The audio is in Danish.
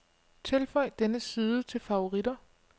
Tilføj denne side til favoritter.